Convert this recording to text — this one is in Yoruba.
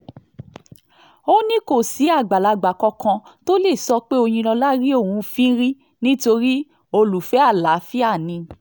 ó ní kò sí àgbàlagbà kankan tó lè sọ pé òyìnlọ́la rí òun fín rí nítorí olùfẹ́ àlàáfíà ni